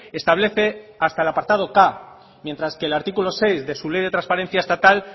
establece hasta el apartado k mientras que el artículo seis de su ley de transparencia estatal